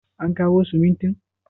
an kawo simuntin?